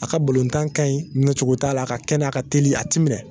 A ka bolontan ka ɲi minɛcogo t'a la, a ka kɛnɛ a ka telin, a ti minɛ.